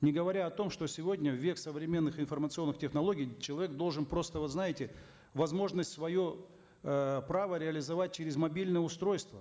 не говоря о том что сегодня в век современных информационных технологий человек должен просто вот знаете возможность свое э право реализовать через мобильное устройство